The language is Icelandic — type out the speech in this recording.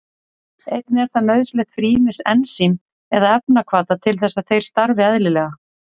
Einnig er það nauðsynlegt fyrir ýmis ensím eða efnahvata til þess að þeir starfi eðlilega.